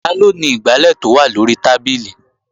Taló ni igbálẹ̀ tó wà lóri tábìlì?